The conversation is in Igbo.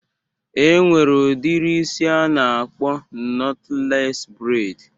E nwere udiri isi a na-akpọ nọtlees breid